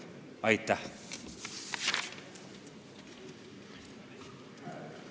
Aitäh!